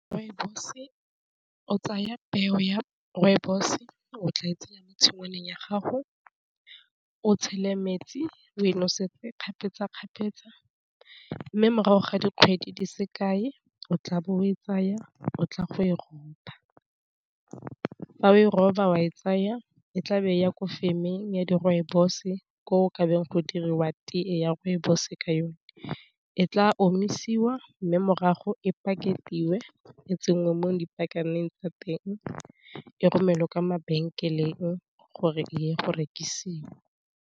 Rooibos-e o tsaya peo ya rooibos o tla e tsenya mo tshingwaneng ya gago o tshele metsi o e nosetse kgapetsakgapetsa, mme morago ga dikgwedi di se kae o tla bo o e tsaya o tla go e ropa, fa o e roba wa e tsaya e tlabe ya ko femeng ya di rooibos-e ko ka beng go diriwa tee ya rooibos-e ka yone, e tla ome siwa mme morago e pakete dingwe e tsentswe mo dipakaneng tsa teng e romelwe kwa mabenkeleng gore e ya go rekisiwa.